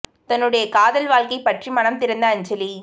தன்னுடைய காதல் வாழ்க்கை பற்றி மனம் திறந்த அஞ்சலி